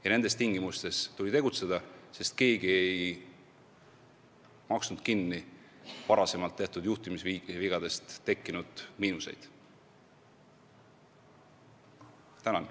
Ja nendes tingimustes tuli tegutseda, sest keegi ei maksnud kinni varem tehtud juhtimisvigadest tekkinud miinuseid.